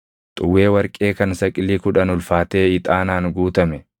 xuwwee warqee kan saqilii kudhan ulfaatee ixaanaan guutame,